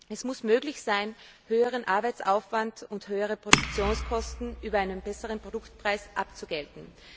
Es muss möglich sein, höheren Arbeitsaufwand und höhere Produktionskosten über einen besseren Produktpreis abzugelten.